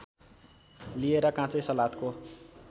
लिएर काँचै सलादको